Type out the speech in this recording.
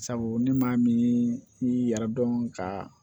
Sabu ne maa min yɛrɛ dɔn kaa